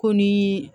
Ko ni